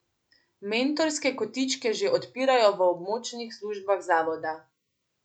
Mentorske kotičke že odpirajo v območnih službah zavoda.